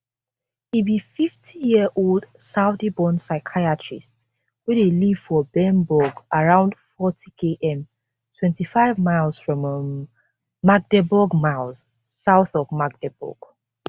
e be 50yearold saudiborn psychiatrist wey dey live for bernburg around 40km 25 miles from um magdeburg miles south of magdeburg